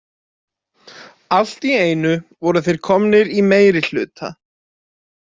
Allt í einu voru þeir komnir í meirihluta.